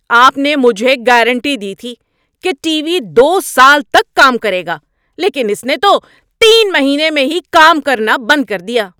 آپ نے مجھے گارنٹی دی تھی کہ ٹی وی دو سال تک کام کرے گا لیکن اس نے تو تین مہینے میں ہی کام کرنا بند کر دیا!